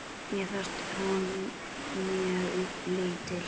Mér finnst hún mjög lítil.